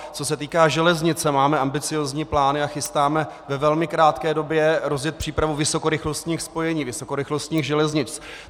Co se týká železnice, máme ambiciózní plány a chystáme ve velmi krátké době rozjet přípravu vysokorychlostních spojení, vysokorychlostních železnic.